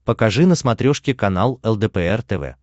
покажи на смотрешке канал лдпр тв